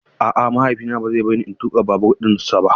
A'a mahaifina ba zai bar ni in tuƙa babur dinsa ba.